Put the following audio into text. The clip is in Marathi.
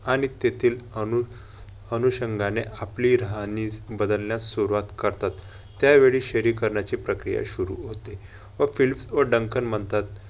आणि तेथील अनु अनुशंघाने आपली राहणी बदलण्यास सुरुवात करतात. त्यावेळी शहरीकरणाची प्रक्रिया सुरु होते. व फिलिप वडांकन म्हणतात.